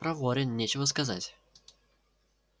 проворен нечего сказать